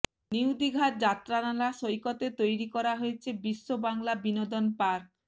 new দিঘার যাত্রানালা সৈকতে তৈরি করা হয়েছে বিশ্ব বাংলা বিনোদন পার্ক